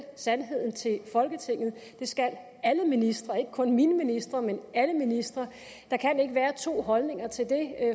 sandheden til folketinget det skal alle ministre ikke kun mine ministre men alle ministre der kan ikke være to holdninger til det